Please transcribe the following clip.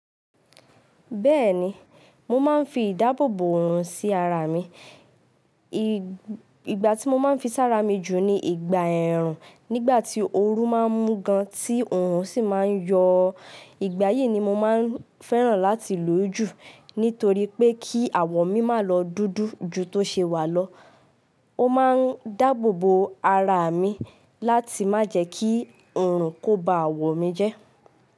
Bẹ́ẹ̀ni, mo máa ń fi ìdáàbò bò òòrùn sí ara mi. Ìgbà tí mo máa ń fi sára mi jù ni ìgbà ẹ̀rùn nígbà tí ooru máa ń mú gan tí òòrùn sì máa ń yọ. Ìgbà yìí ni mo máa ń fẹ́ràn láti lò ó jù nítorí pé kí àwọ̀ mi má lọ dúdú ju tó ṣe wà lọ. Ó máa ń dáàbò bò ara mi láti má jẹ́ kí òòrùn kó ba àwọ̀ mi jẹ́